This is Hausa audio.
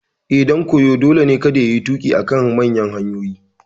Eh, ɗan koyo dole ne kada yayi tuƙi a kan manyan hanyoyi